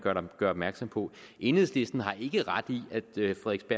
gør opmærksom på enhedslisten har ikke ret i